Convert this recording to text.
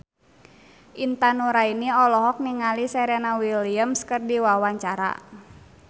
Intan Nuraini olohok ningali Serena Williams keur diwawancara